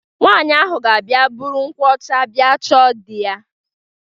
Nwaanyị ga-abịa buru nkwụ ọcha bịa chọọ di ya.